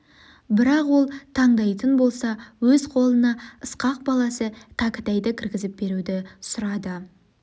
бірақ ол тандайтын болса өз қолына ысқақ баласы кәкітайды кіргізіп беруді сұрады